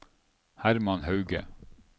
Hermann Hauge